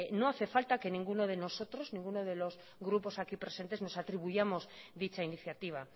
no hace falta que ninguno de nosotros ninguno de los grupos aquí presente nos atribuyamos dicha iniciativa